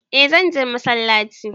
Eh zanje masallaci